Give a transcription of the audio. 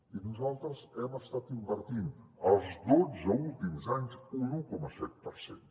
i nosaltres hem estat invertint els dotze últims anys un un coma set per cent